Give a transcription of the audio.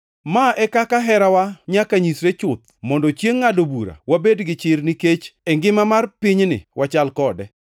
Ma e kaka herawa nyaka nyisre chuth mondo chiengʼ ngʼado bura wabed gi chir nikech e ngima mar pinyni wachal kode.